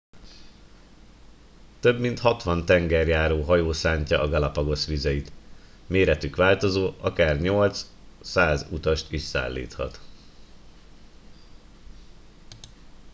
több mint 60 tengerjáró hajó szántja a galapagos vizeit méretük változó akár 8-100 utast is szállíthat